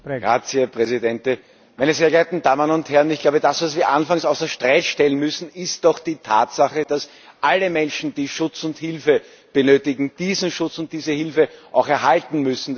Herr Präsident! Meine sehr geehrten Damen und Herren, was Sie anfangs außer Frage stellen müssen, ist doch die Tatsache, dass alle Menschen, die Schutz und Hilfe benötigen, diesen Schutz und diese Hilfe auch erhalten müssen!